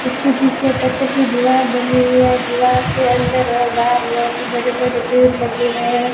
इसके पीछे पत्थर की दीवार बनी हुई है दीवार के अंदर और बाहर बहुत ही बड़े बड़े पेड़ लगे हुए हैं।